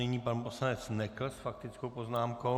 Nyní pan poslanec Nekl s faktickou poznámkou.